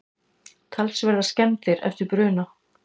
Talsverðar skemmdir eftir bruna